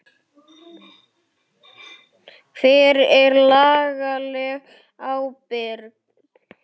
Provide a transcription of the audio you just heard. Hver er lagaleg ábyrgð?